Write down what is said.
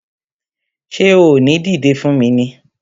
Ṣé o ò ní dìdé fún mi ni!